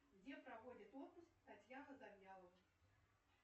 где проводит отпуск татьяна завьялова